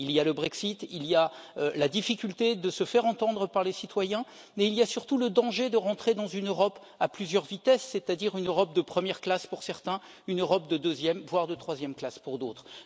Il y a le Brexit, il y a la difficulté à se faire entendre par les citoyens, mais il y a surtout le danger d'entrer dans une Europe à plusieurs vitesses une Europe de première classe pour certains, une Europe de deuxième, voire de troisième classe pour d'autres.